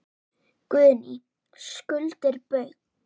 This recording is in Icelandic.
Guðný: Skuldir Baugs?